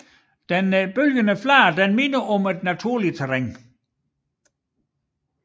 Den bølgende flade minder om et naturligt terræn